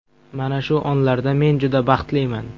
Mana shu onlarda men juda baxtliman.